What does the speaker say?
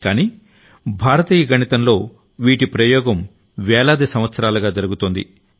కానీ భారతీయ గణితంలో వీటి ప్రయోగం వేలాది సంవత్సరాలుగా జరుగుతోంది